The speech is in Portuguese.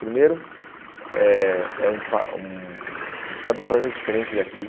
Primeiro, é é um pa um um estado completamente diferente daqui.